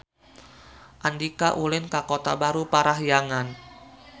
Andika ulin ka Kota Baru Parahyangan